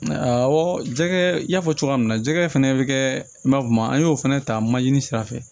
Awɔ jɛgɛ n y'a fɔ cogoya min na jɛgɛ fana bɛ kɛ i n'a fɔ kuma an y'o fana ta manzini sira fɛ